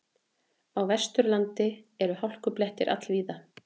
Á Vesturlandi eru hálkublettir all víða